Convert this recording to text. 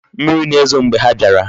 Mmiri na-ezo mgbe ha biara.